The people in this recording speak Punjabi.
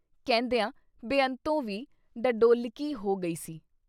ਕਹਿੰਦਿਆਂ ਬੇਅੰਤੋਂ ਵੀ ਡੱਡੋਲਿੱਕੀ ਹੋ ਗਈ ਸੀ।